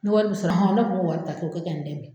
Ni wari min sɔrɔ wari ta k'o kɛ nin